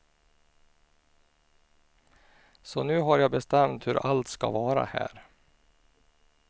Så nu har jag bestämt hur allt ska vara här.